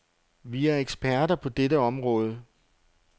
Vi er eksperter på dette område.